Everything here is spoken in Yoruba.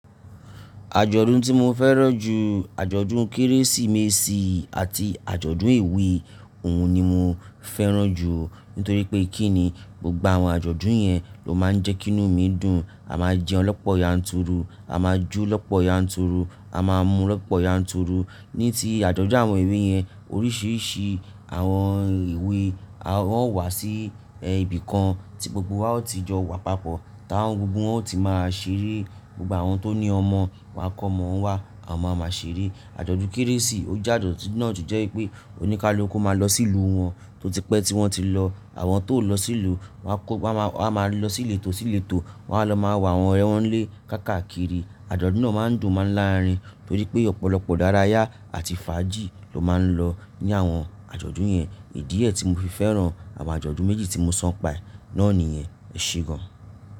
Àjọ̀dún tí mo fẹ́ràn jù, àjọ̀dún Kérésìmesì àti àjọ̀dún ewe òun ni mo fẹ́ràn jù. Nítorí pé kí ni, gbogbo àwọn àjọ̀dún yẹn ló máa ń jẹ́kí inú mi dùn. A máa jẹun lọ́pọ̀ yanturu, a máa jó lọ́pọ̀ yanturu, a máa mu lọ́pọ̀ yanturu. Ni tí àjọ̀dún àwọn ewe yẹn, oríṣìíríṣìí àwọn ewe a ó wà sí ibìkan tí gbogbo wa ó ti jọ wà papọ̀, táwọn gbogbo wọn ó ti máa ṣeré. Gbogbo àwọn tó ní ọmọ wa kọ́ ọmọ wa, àwọn ọmọ máa ṣeré. Àjọ̀dún Kérésì, ó je ajodun náà to jẹ́ pé oníkálùú kó máa lọ sílùú wọn tó tipẹ́ tí wọ́n ti lọ. Àjọ̀dún Kérésì, ó je ajodun náà to jẹ́ pé oníkálùú kó máa lọ sílùú wọn tó tipẹ́ tí wọ́n ti lọ. Àjọ̀dún náà máa ń dùn máa ń láarin torí pé ọ̀pọ̀lọpọ̀ idaràyá àti fàájì ló máa ń lọ ní àwọn àjọ̀dún yẹn. Ìdí ẹ tí mo fi fẹ́ràn àwọn àjọ̀dún méjì tí mo so npa e náà nìyẹn. Ẹ ṣe gan.